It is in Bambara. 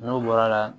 N'o bɔra la